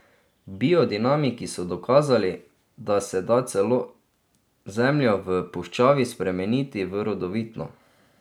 Biodinamiki so dokazali, da se da celo zemljo v puščavi spremeniti v rodovitno.